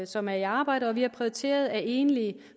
som er i arbejde og vi har prioriteret at enlige